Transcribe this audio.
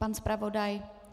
Pan zpravodaj?